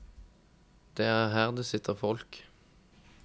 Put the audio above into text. Det er her det sitter folk.